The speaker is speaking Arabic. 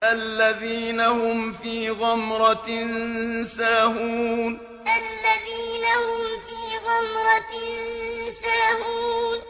الَّذِينَ هُمْ فِي غَمْرَةٍ سَاهُونَ الَّذِينَ هُمْ فِي غَمْرَةٍ سَاهُونَ